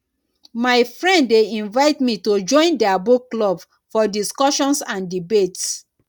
my friend dey invite me to join their book club for discussions and debates